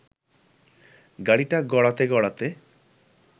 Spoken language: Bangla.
গাড়িটা গড়াতে গড়াতে